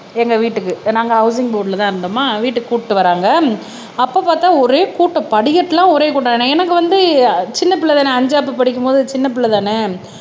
எங்க வீட்டுக்கு நாங்க ஹவுசிங் போர்டுலதான் இருந்தோமா வீட்டுக்கு கூட்டிட்டு வர்றாங்க அப்ப பார்த்தா ஒரே கூட்டம் படிக்கட்டு எல்லாம் ஒரே கூட்டம் ஏன்னா எனக்கு வந்து சின்ன பிள்ளைதானே அஞ்சாப்பு படிக்கும் போது சின்ன பிள்ளைதானே